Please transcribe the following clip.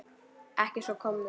Ekki að svo komnu.